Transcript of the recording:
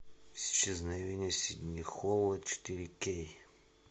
исчезновение сидни холла четыре кей